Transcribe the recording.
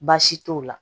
Baasi t'o la